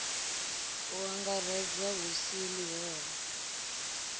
u angaredza hu si ḽihoro